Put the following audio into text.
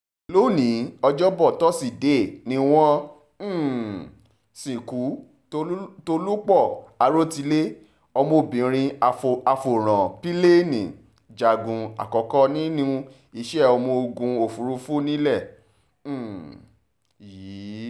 lónìí ọjọ́bọ́ tọ́sídẹ̀ẹ́ ni wọ́n um sìnkú tólúpọ̀ àròtilé ọmọbìnrin afọ̀rọ̀ǹpilẹ̀ẹ́ni-jagun àkọ́kọ́ nínú iṣẹ́ ọmọ-ogun òfurufú nílẹ̀ um yìí